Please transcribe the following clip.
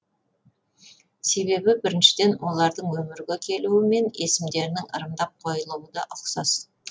себебі біріншіден олардың өмірге келуі мен есімдерінің ырымдап қойылуы да ұқсас